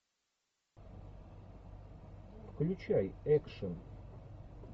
включай экшн